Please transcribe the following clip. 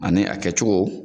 Ani a kɛcogo